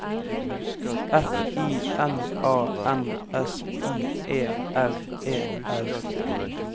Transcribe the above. F I N A N S I E R E R